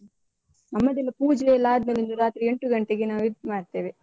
ನಮ್ಮದೆಲ್ಲಾ ಪೂಜೆಯೆಲ್ಲ ಅದ್ಮೇಲೆ ಒಂದು ರಾತ್ರಿ ಎಂಟು ಗಂಟೆಗೆ ನಾವು ಇದ್ ಮಾಡ್ತೇವೆ.